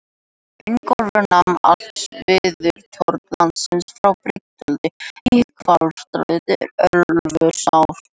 Ingólfur nam allt suðvesturhorn landsins frá Brynjudal í Hvalfirði til Ölfusár.